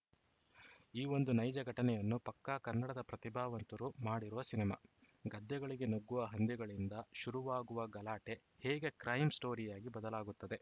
ಈ ಒಂದು ನೈಜ ಘಟನೆಯನ್ನು ಪಕ್ಕಾ ಕನ್ನಡದ ಪ್ರತಿಭಾವಂತರು ಮಾಡಿರುವ ಸಿನಿಮಾ ಗದ್ದೆಗಳಿಗೆ ನುಗ್ಗುವ ಹಂದಿಗಳಿಂದ ಶುರುವಾಗುವ ಗಲಾಟೆ ಹೇಗೆ ಕ್ರೈಮ ಸ್ಟೋರಿಯಾಗಿ ಬದಲಾಗುತ್ತದೆ